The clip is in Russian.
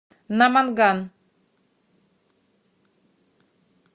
наманган